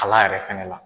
Kala yɛrɛ fɛnɛ la